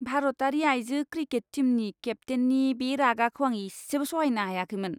भारतारि आइजो क्रिकेट टीमनि केप्तेननि बे रागाखौ आं इसेबो सहायनो हायाखैमोन!